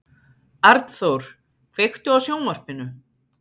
Arnþór, kveiktu á sjónvarpinu.